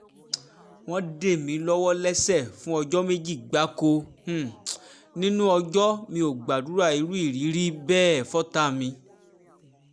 wọ́n dè mí lọ́wọ́ lẹ́sẹ̀ fún ọjọ́ méjì gbáko um nínú ọjọ́ mi ò gbàdúrà irú ìrírí um bẹ́ẹ̀ fọ́tàá mi